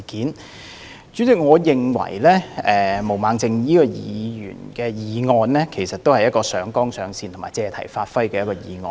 代理主席，我認為毛孟靜議員的議案是一項上綱上線和借題發揮的議案。